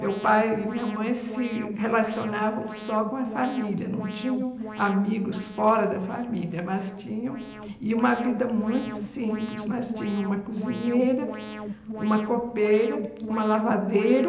Meu pai e minha mãe se relacionavam só com a família, não tinham amigos fora da família, mas tinham e uma vida muito simples, mas tinham uma cozinheira, uma copeira, uma lavadeira,